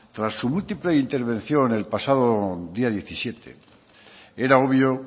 tras su múltiple intervención el pasado día diecisiete era obvio